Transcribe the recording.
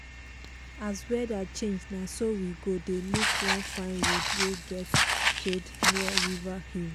as weather change na so we go dey look one fine road wey get shade near river hill.